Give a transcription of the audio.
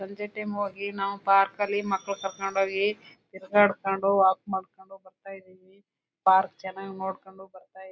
ಸಂಜೆ ಟೈಮ್ ಹೋಗಿ ನಾವು ಪಾರ್ಕ್ ಲಿ ಮಕ್ಕಳ ಕರ್ಕೊಂಡು ಹೋಗಿ ತಿರುಗಾಡಿಕೊಂಡು ವಾಕ್ ಮಾಡ್ಕೊಂಡು ಬರ್ತಾ ಇದೀವಿ ಪಾರ್ಕ್ ಚೆನ್ನಾಗಿ ನೋಡ್ಕೊಂಡು ಬರ್ತಾ--